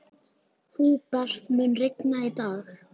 Húbert, mun rigna í dag?